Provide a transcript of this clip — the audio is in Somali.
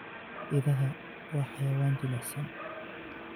Idaha waa xayawaan jilicsan.